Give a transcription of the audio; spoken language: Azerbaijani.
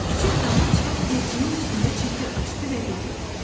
Küçüк dama çıxıb evciyin üstündə çətir açdı və dedi.